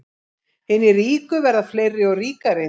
Hinir ríku verða fleiri og ríkari